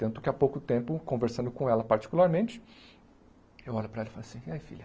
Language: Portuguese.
Tanto que há pouco tempo, conversando com ela particularmente, eu olho para ela e falo assim, e aí filha?